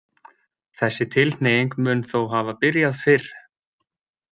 Þessi tilhneiging mun þó hafa byrjað fyrr.